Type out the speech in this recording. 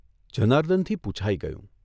જનાર્દનથી પૂછાઇ ગયું.